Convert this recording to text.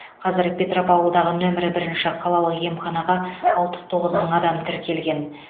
қазір петропавлдағы нөмірі бірінші қалалық емханаға алпыс тоғыз мың адам тіркелген